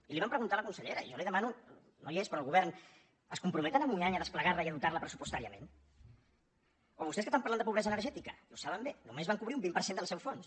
i li ho vam preguntar a la consellera i jo li demano no hi és però el govern es compromet en un any a desplegar la i a dotar la pressupostàriament o vostès que tant parlen de pobresa energètica i ho saben bé només van cobrir un vint per cent del seu fons